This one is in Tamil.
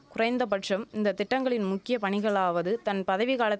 குறைந்தபட்சம் இந்த திட்டங்களின் முக்கிய பணிகளாவது தன் பதவி கால